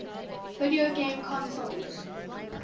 video game consoles